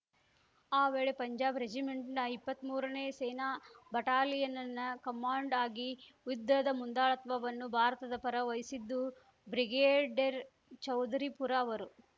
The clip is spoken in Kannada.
ಆ ವೇಳೆ ಪಂಜಾಬ್‌ ರೆಜಿಮೆಂಟ್‌ನ ಇಪ್ಪತ್ಮೂರನೇ ಸೇನಾ ಬಟಾಲಿಯನ್‌ನ ಕಮಾಂಡ್ ಆಗಿ ಯುದ್ಧದ ಮುಂದಾಳತ್ವವನ್ನು ಭಾರತದ ಪರ ವಹಿಸಿದ್ದು ಬ್ರಿಗೇಡೆರ್‌ ಚೌದರಿಪುರ ಅವರು